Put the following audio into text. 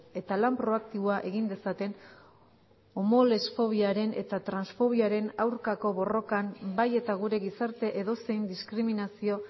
eta lan proaktiboa egin dezaten homolesfobiaren eta transfobiaren aurkako borrokan bai eta gure gizarte edozein diskriminazio